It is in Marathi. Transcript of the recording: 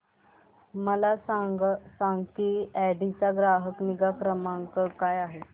मला सांग की ऑडी चा ग्राहक निगा क्रमांक काय आहे